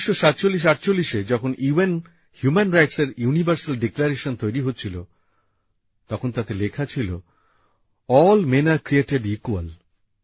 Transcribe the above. ১৯৪৭৪৮এ যখন UN human রাইটসের universal declaration তৈরি হচ্ছিল তখন তাতে লেখা ছিল all men are created equal